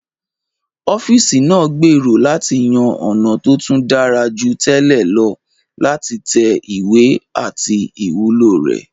Ọ́fíìsì ń gbèrò láti yan ọ̀nà tó tún dára jù tẹ́lẹ̀ lọ láti tẹ ìwé àti ìwúlò rẹ̀